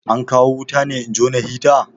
An kawo wuta ne in jona hita?